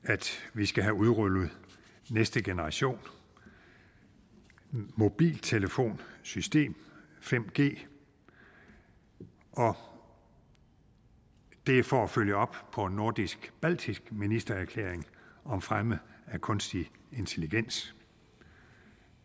vi skal have udrullet næste generation mobiltelefonsystem 5g og det er for at følge op på nordisk baltisk ministererklæring om fremme af kunstig intelligens